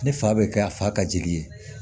Ne fa bɛ kɛ a fa ka jigin ye